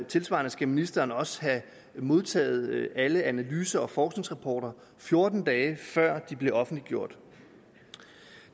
tilsvarende skal ministeren også have modtaget alle analyser og forskningsrapporter fjorten dage før de bliver offentliggjort